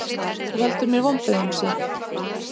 Þú veldur mér vonbrigðum, Sif.